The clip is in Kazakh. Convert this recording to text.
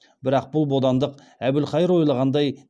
бірақ бұл бодандық әбілқайыр ойлағандай